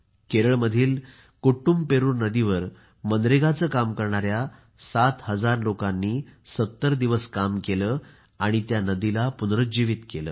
केरळमधील कुट्टूमपेरूर नदीवर मनरेगाचे काम करणाऱ्या 7 हजार लोकांनी 70 दिवस काम केले आणि त्या नदीला पुनरुज्जीवीत केले